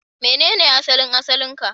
Menene asalin asalin ka?